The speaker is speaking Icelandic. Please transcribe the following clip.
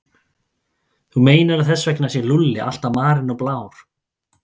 Þú meinar að þess vegna sé Lúlli alltaf marinn og blár?